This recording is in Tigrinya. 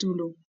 ትብሉ?